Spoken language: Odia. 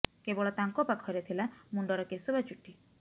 କେବଳ ତାଙ୍କ ପାଖରେ ଥିଲା ମୁଣ୍ଡର କେଶ ବା ଚୁଟି